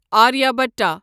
Aryabhata